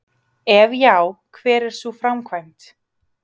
Ef já, hver er sú framkvæmd?